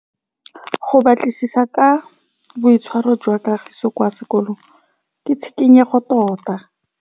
Go batlisisa ka boitshwaro jwa Kagiso kwa sekolong ke tshikinyêgô tota.